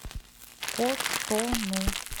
котону